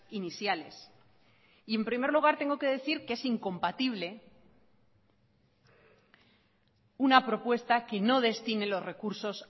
iniciales y en primer lugar tengo que decir que es incompatible una propuesta que no destine los recursos